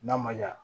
N'a ma ɲa